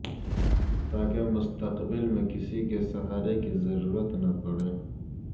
تاکہ مستقبل میں کسی کے سہارے کی ضرورت نہ پڑے